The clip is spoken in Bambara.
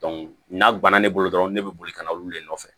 n'a banna ne bolo dɔrɔn ne bɛ boli ka na olu le nɔfɛ